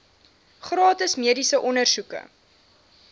gratis mediese ondersoeke